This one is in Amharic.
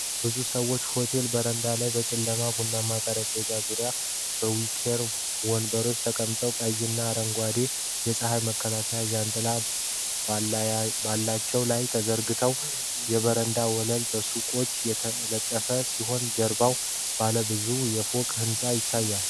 ብዙ ሰዎች በሆቴል በረንዳ ላይ በጨለማ ቡናማ ጠረጴዛዎች ዙሪያ በዊኬር ወንበሮች ተቀምጠዋል። ቀይና አረንጓዴ የፀሐይ መከላከያ ጃንጥላዎች በላያቸው ላይ ተዘርግተዋል። የበረንዳው ወለል በሰቆች የተነጠፈ ሲሆን ከጀርባ ባለ ብዙ ፎቅ ሕንፃ ይታያል።